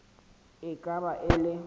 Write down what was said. e ka ba e le